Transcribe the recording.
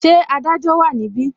Ṣé Adájọ́ wa ni ibi?